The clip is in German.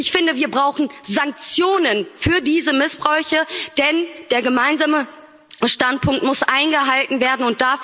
Ich finde, wir brauchen Sanktionen für diese Missbräuche, denn der gemeinsame Standpunkt muss eingehalten werden.